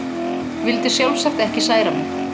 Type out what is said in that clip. Vildi sjálfsagt ekki særa mig.